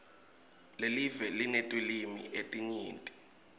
lelive linetilwimi letinyenti